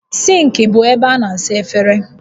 Sịnkị bụ ebe a na-asa efere